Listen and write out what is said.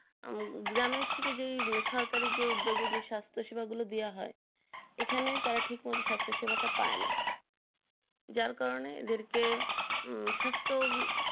গ্রামে থেকে শহরে যে উদ্দগে যে স্বাস্থ সেভা দেওয়া হয় এখানে সেই রকম স্বাস্থ সেভ পাই না যার কারণে এদের কে সুষ্ঠ